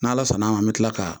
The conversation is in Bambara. N'ala sɔnn'a ma an bɛ tila ka